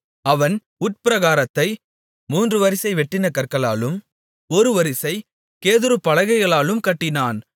அவன் உட்பிரகாரத்தை மூன்று வரிசை வெட்டின கற்களாலும் ஒரு வரிசை கேதுரு பலகைகளாலும் கட்டினான்